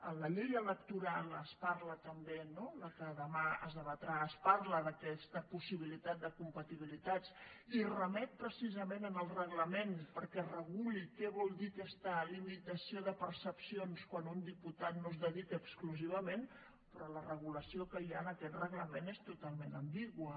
en la llei electoral es parla també no que demà es debatrà d’aquesta possibilitat de compatibilitats i remet precisament al reglament perquè es reguli què vol dir aquesta limitació de percepcions quan un diputat no s’hi dedica exclusivament però la regulació que hi ha en aquest reglament és totalment ambigua